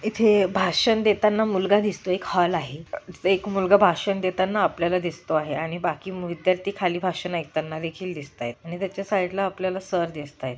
इथे भाषण देताना मुलगा दिसतोय एक हॉल आहे. एक मुलगा भाषण देताना आपल्याला दिसतो आहे आणि बाकी विद्यार्थी खाली भाषन ऐकताना देखील दिसतायत आणि त्याच्या साइड ला आपल्याला सर दिसतायत.